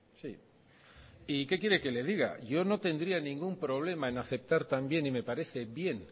sí y qué quiere que le diga yo no tendría ningún problema en aceptar también y me parece bien